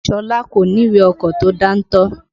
Ṣọlá kò ní ìwé ọkọ̀ tó dáńtọ́.